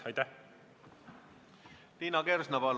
Liina Kersna, palun!